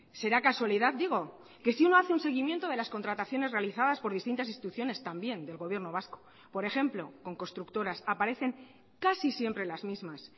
será casualidad digo que si uno hace un seguimiento de las contrataciones realizadas por distintas instituciones también del gobierno vasco por ejemplo con constructoras aparecen casi siempre las mismas